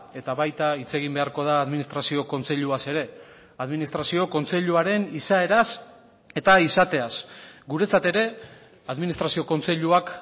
eta baita hitz egin beharko da administrazio kontseiluaz ere administrazio kontseiluaren izaeraz eta izateaz guretzat ere administrazio kontseiluak